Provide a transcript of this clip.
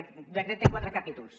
aquest decret té quatre capítols